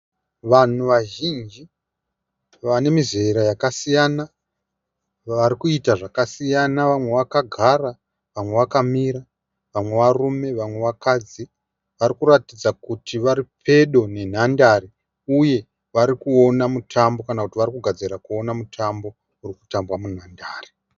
Vanhu vazhinji vanemizera yakasiyana. Varikuita zvakasiyana vamwe vakagara, Vamwe vakamira. vamwe varume, vamwe vakadzi. Varikuratidza kuti varipedo nenhandare uye varikuona mutambo kana kuti varikugadzirira kuona mutambo urikutambaa munhabdare.